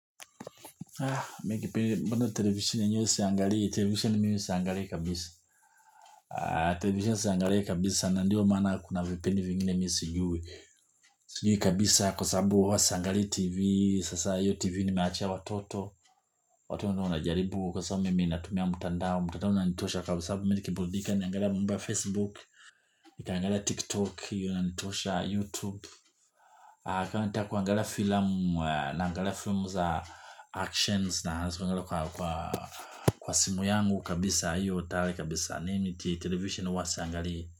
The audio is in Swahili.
Ah mikipindi bado televisheni hiyo siangalii, televisisheni mimi siangalii kabisa ah televisheni siangalii kabisa nandiyo mana kuna vipindi vingine mimi sijui sijui kabisa kwa sababu huwa si angalii tv, sasa hiyo tv ni meachia watoto watu wenyewe mna jaribu kwa sababu mimi natumia mtandao, mtandao unanitosha kabisa sababu mimi nikiburidika naangalia mambo ya facebook nika angala tik tok hiyo inanitosha youtube kanataka kuangalaia filamu na angalia filamu za actions na angalia kwa kwa simu yangu kabisa hiyo. Tayari kabisa miimi ti televisheni huwa siangali.